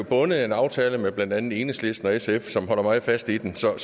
bundet af en aftale med blandt andet enhedslisten og sf som holder meget fast i den så